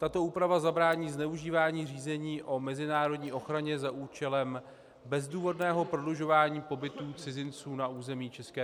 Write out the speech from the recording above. Tato úprava zabrání zneužívání řízení o mezinárodní ochraně za účelem bezdůvodného prodlužování pobytů cizinců na území ČR.